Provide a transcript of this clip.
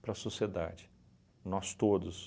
para a sociedade, nós todos.